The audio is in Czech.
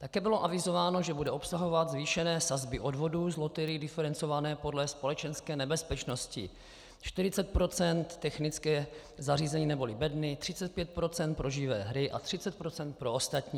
Také bylo avizováno, že bude obsahovat zvýšené sazby odvodů z loterií diferencované podle společenské nebezpečnosti - 40 % technické zařízení neboli bedny, 35 % pro živé hry a 30 % pro ostatní.